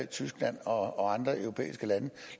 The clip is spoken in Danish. tyskland og andre europæiske lande